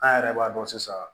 An yɛrɛ b'a dɔn sisan